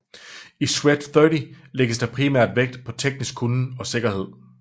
I Shred30 lægges der primært vægt på teknisk kunnen og sikkerhed